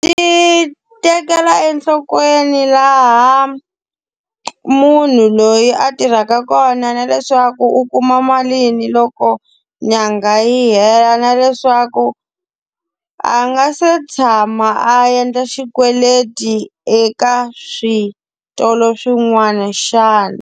Yi tekela enhlokweni laha munhu loyi a tirhaka kona na leswaku u kuma mali ni loko nyanga yi hela. Na leswaku a nga se tshama a endla xikweleti eka switolo swin'wana xana.